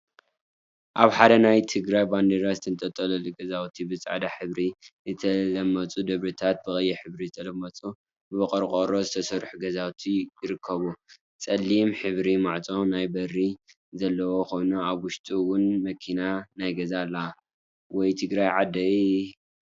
አብ ሓደ ናይ ትግራይ ባንዴራ ዝተንጠልጠለሉ ገዛውቲ ብፃዕዳ ሕብሪ ዝተለመፁ ደብሪታትን ብቀይሕ ሕብሪ ዝተለመፁ ብቆርቆሮ ዝተሰሩ ገዛውቲን ይርከቡ፡፡ ፀሊም ሕብሪ ማዕፆ ናይ በሪ ዘለዎ ኮይኑ አብ ውሽጡ እውን መኪና ናይ ገዛ አላ፡፡ ወይ ትግራይ ዓደይ!